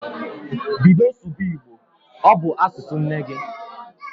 Bido sụba Igbo! Ọ bụ asụsụ nne gị